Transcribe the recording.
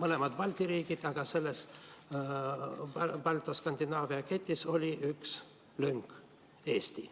mõlemad Balti riigid, aga selles Balti‑Skandinaavia ketis oli üks lünk – Eesti.